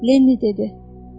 Lenni dedi: